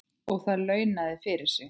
Og það launaði fyrir sig.